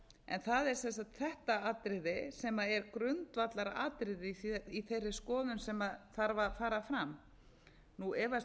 en það er sem sagt þetta atriði sem er grundvallaratriðið í þeirri skoðun sem þarf að fara fram nú efast ég ekki um